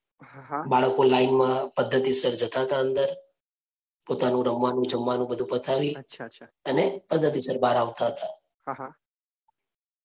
બાળકો લાઇનમાં પદ્ધતિસર જતાં હતા અંદર. પોતાનું રમવાનું, જમવાનું બધુ પતાવી અને પદ્ધતિસર બહાર આવતા હતા.